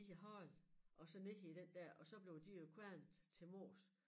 I æ hånd og så ned i den der og så blev de jo kværnet til mos